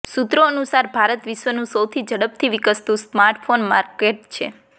સૂત્રો અનુસાર ભારત વિશ્વનું સૌથી ઝડપથી વિકસતું સ્માર્ટફોન માર્કેટ છે